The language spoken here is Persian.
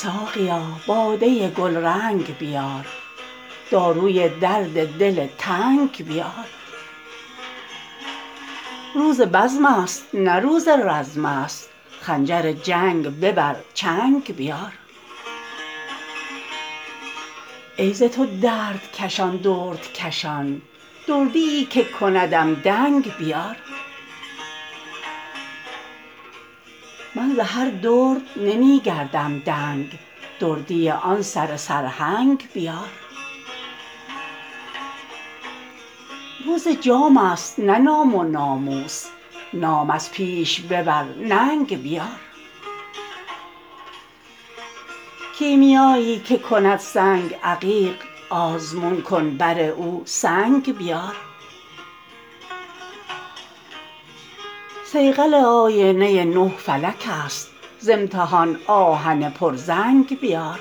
ساقیا باده گلرنگ بیار داروی درد دل تنگ بیار روز بزمست نه روز رزمست خنجر جنگ ببر چنگ بیار ای ز تو دردکشان دردکشان دردیی که کندم دنگ بیار من ز هر درد نمی گردم دنگ دردی آن سره سرهنگ بیار روز جامست نه نام و ناموس نام از پیش ببر ننگ بیار کیمیایی که کند سنگ عقیق آزمون کن بر او سنگ بیار صیقل آینه نه فلکست ز امتحان آهن پرزنگ بیار